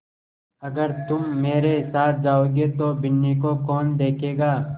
अगर तुम मेरे साथ जाओगे तो बिन्नी को कौन देखेगा